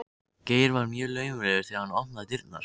Geir var mjög laumulegur þegar hann opnaði dyrnar.